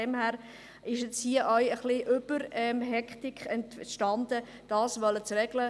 Hier ist eine übertriebene Hektik entstanden, um das zu regeln.